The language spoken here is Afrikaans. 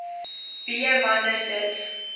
b wanneer dit